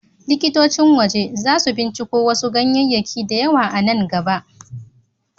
LIkitocin waje za su binciko wasu ganyayyaki da yawa a nan gaba.